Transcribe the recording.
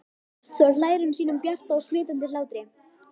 Svo hlær hún sínum bjarta og smitandi hlátri.